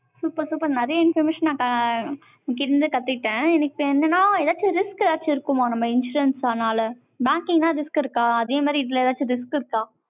super, super நிறைய information, நான் இங்க இருந்து கத்துக்கிட்டேன். எனக்கு இப்ப என்னன்னா, ஏதாச்சும் risk ஏதாச்சும் இருக்குமா, நம்ம insurance அதனால? banking னா risk இருக்கா? அதே மாதிரி, இதுல ஏதாச்சும் risk இருக்கா